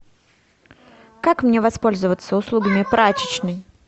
как мне воспользоваться услугами прачечной